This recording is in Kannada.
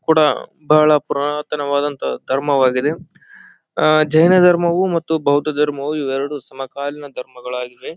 ಕೂಡ ಬಹಳ ಪುರಾತನವಾದಂತಹ ಧರ್ಮವಾಗಿದೆ ಅಹ್ ಅಹ್ ಜೈನಧರ್ಮವು ಮತ್ತು ಬೌದ್ಧಧರ್ಮವು ಇವೆರಡು ಸಮಕಾಲೀನ ಧರ್ಮವಾಗಿದೆ.